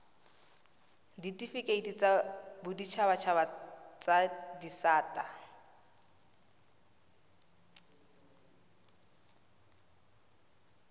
ditifikeiti tsa boditshabatshaba tsa disata